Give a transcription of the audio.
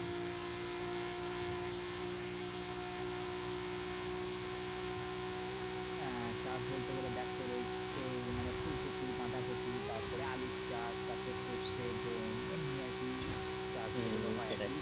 আহ চাষ বলতে গেলে দেখ তোর ওই ওই ফুলকপি বাঁধাকপি তারপর আলুর চাষ তারপরে সরষে গম এমনি আর কি চাষ হয়েছিল